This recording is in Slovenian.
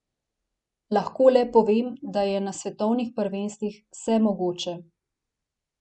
Lahko le povem, da je na svetovnih prvenstvih vse mogoče.